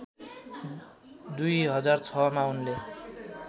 २००६ मा उनले